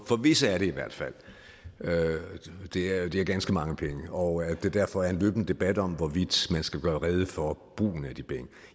for visse er det i hvert fald det er det er ganske mange penge og der er derfor en løbende debat om hvorvidt man skal gøre rede for brugen af de penge